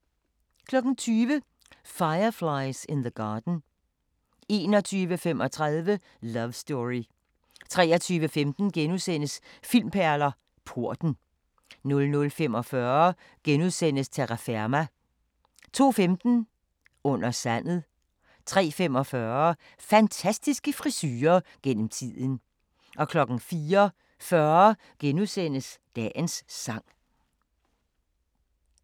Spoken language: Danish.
20:00: Fireflies in the Garden 21:35: Love Story 23:15: Filmperler: Porten * 00:45: Terraferma * 02:15: Under sandet 03:45: Fantastiske frisurer gennem tiden 04:40: Dagens Sang *